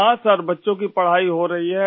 हाँ सर बच्चों की पढ़ाई हो रही है